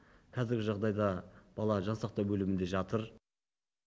қазіргі жағдайда бала жансақтау бөлімінде жатыр